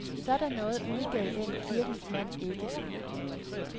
Sådan noget udgav den kirkens mand ikke.